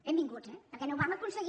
benvinguts eh perquè no ho vam aconseguir